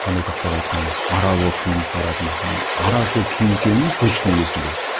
қандай тақпақ айтқанымыз ара болып киініп баратынбыз ара киінгенім точно есімде